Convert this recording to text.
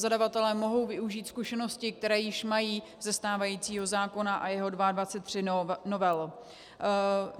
Zadavatelé mohou využít zkušenosti, které již mají ze stávajícího zákona a jeho 22 novel.